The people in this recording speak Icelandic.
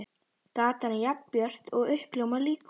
Gatan er jafn björt og uppljómað líkhús.